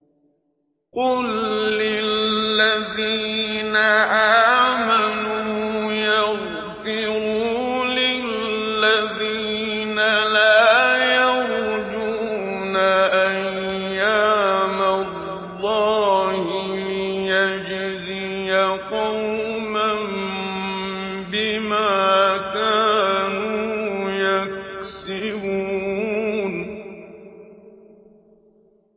قُل لِّلَّذِينَ آمَنُوا يَغْفِرُوا لِلَّذِينَ لَا يَرْجُونَ أَيَّامَ اللَّهِ لِيَجْزِيَ قَوْمًا بِمَا كَانُوا يَكْسِبُونَ